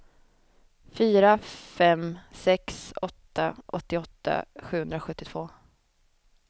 fyra fem sex åtta åttioåtta sjuhundrasjuttiotvå